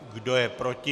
Kdo je proti?